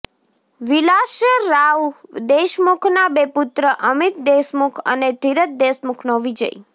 વિલાસરાવ દેશમુખના બે પુત્ર અમિત દેશમુખ અને ધીરજ દેશમુખનો વિજય